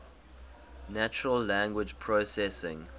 natural language processing